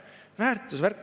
Väärtuse värk!